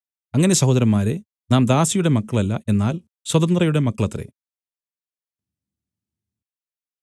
അങ്ങനെ സഹോദരന്മാരേ നാം ദാസിയുടെ മക്കളല്ല എന്നാൽ സ്വതന്ത്രയുടെ മക്കളത്രേ